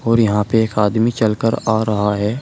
और यहां पे एक आदमी चलकर आ रहा है।